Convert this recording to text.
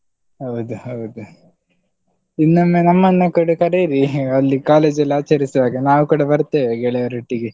ಹೌದು ಹೌದು, ಇನ್ನೊಮ್ಮೆ ನಮ್ಮನ್ನು ಕೂಡ ಕರೀರಿ ಅಲ್ಲಿ college ಅಲ್ ಆಚರಿಸುವಾಗ ನಾವು ಕೂಡ ಬರ್ತೆವೆ ಗೆಳೆಯರೊಟ್ಟಿಗೆ.